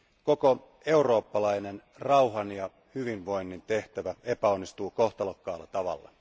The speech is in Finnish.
koko eurooppalainen rauhan ja hyvinvoinnin tehtävä epäonnistuu kohtalokkaalla tavalla.